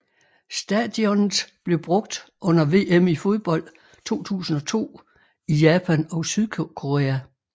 Stadionet blev brugt under VM i fodbold 2002 i Japan og Sydkorea